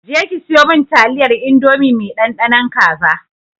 Je ki siyo min taliyar indomie mai ɗanɗanon kaza!